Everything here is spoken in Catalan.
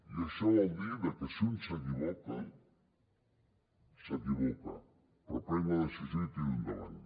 i això vol dir que si un s’equivoca s’equivoca però prenc la decisió i tiro endavant